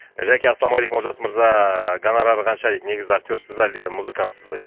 жәке ассалаумағалейкум олжас мырза гонорары қанша дейді негізі актерсыз ба әлде музыкантсыз ба дейді